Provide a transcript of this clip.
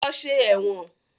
Lọ ṣe ẹ̀wọ̀n!